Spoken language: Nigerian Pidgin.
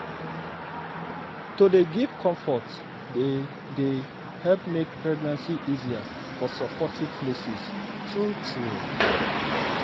to dey give comfort dey dey help make pregnancy easier for supportive places true true.